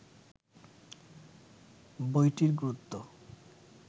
বইটির গুরুত্ব